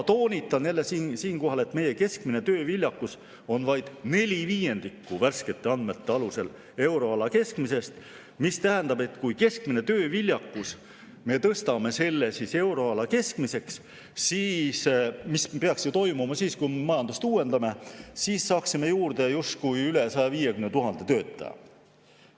Toonitan siinkohal, et meie keskmine tööviljakus on vaid neli viiendikku – värskete andmete alusel – euroala keskmisest, mis tähendab, et kui me keskmise tööviljakuse tõstame euroala keskmisele tasemele, mis peaks toimuma siis, kui me majandust uuendame, siis saaksime juurde justkui üle 150 000 töötaja.